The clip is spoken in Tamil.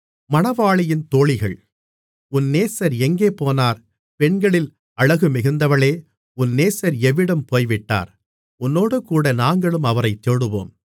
உன் நேசர் எங்கே போனார் பெண்களில் அழகுமிகுந்தவளே உன் நேசர் எவ்விடம் போய்விட்டார் உன்னோடேகூட நாங்களும் அவரைத் தேடுவோம் மணவாளி